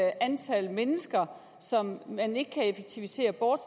antal mennesker som man ikke kan effektivisere bort